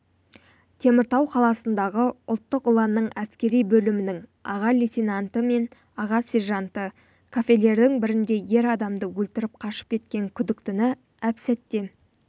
теміртау қаласындағы ұлттық ұланның әскери бөлімінің аға лейтенанты мен аға сержанты кафелердің бірінде ер адамды өлтіріп қашып кеткен күдіктіні әп сәтте